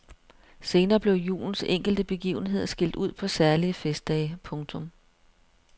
Senere blev julens enkelte begivenheder skilt ud på særlige festdage. punktum